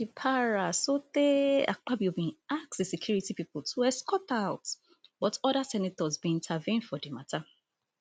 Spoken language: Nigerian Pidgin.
she para sotee akpabio bin ask di security pipo to escort her out but oda senators bin intervene for di matter